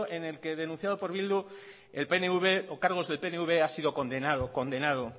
en el que denunciado por bildu el pnv o cargos del pnv ha sido condenado